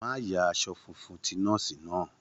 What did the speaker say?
Má ya aṣọ funfun ti nọ́ọ̀sì náà.